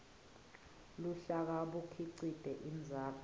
luhlaka bukhicite indzaba